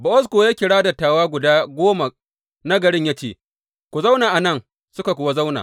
Bowaz kuwa ya kira dattawa guda goma na garin ya ce, Ku zauna a nan, suka kuwa zauna.